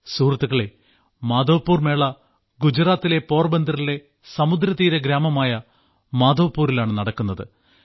സുഹൃത്തുക്കളേ മാധവ്പുർ മേള ഗുജറാത്തിലെ പോർബന്തറിലെ സമുദ്രതീര ഗ്രാമമായ മാധവ്പുരിലാണ് നടക്കുന്നത്